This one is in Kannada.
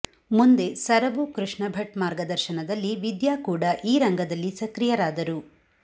ಮುಂದೆ ಸರವು ಕೃಷ್ಣ ಭಟ್ ಮಾರ್ಗದರ್ಶನದಲ್ಲಿ ವಿದ್ಯಾ ಕೂಡ ಈ ರಂಗದಲ್ಲಿ ಸಕ್ರಿಯರಾದರು